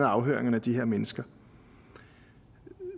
afhøringerne af de her mennesker